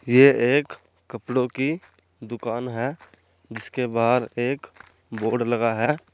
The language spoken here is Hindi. ये एक कपड़ों की दुकान है जिसके बाहर एक बोर्ड लगा है।